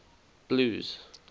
blues